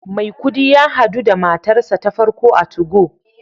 Maikudi ya hadu da matarsa ​​ta farko a 2go